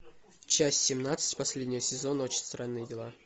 часть семнадцать последнего сезона очень странные дела